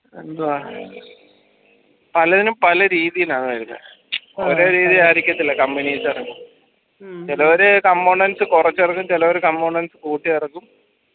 എന്തുവാ പലയതിനും പല രീതിയിലാ വരുന്നേ ഒരേ രീതി ആയിരിക്കത്തില്ല company ഇറക്കുന്നേ ചെലവര് components കൊറച്ചറക്കും ചെലവര് components കൂട്ടിയിറക്കും